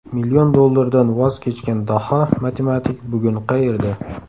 Million dollardan voz kechgan daho matematik bugun qayerda?